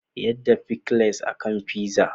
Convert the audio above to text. Yada pickles a kan pizza.